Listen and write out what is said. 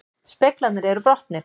Speglarnir eru brotnir